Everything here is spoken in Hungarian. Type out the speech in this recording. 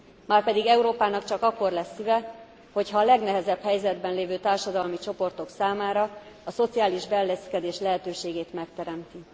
Márpedig Európának csak akkor lesz szíve, hogyha a legnehezebb helyzetben lévő társadalmi csoportok számára a szociális beilleszkedés lehetőségét megteremti.